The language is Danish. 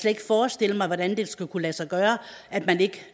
ikke forestille mig hvordan det skulle kunne lade sig gøre at man ikke